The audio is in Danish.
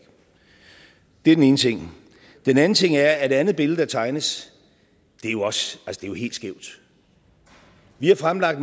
er den ene ting den anden ting er at det andet billede der tegnes er helt skævt vi har fremlagt